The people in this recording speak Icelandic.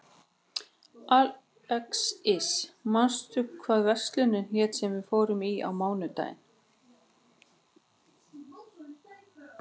Alexis, manstu hvað verslunin hét sem við fórum í á mánudaginn?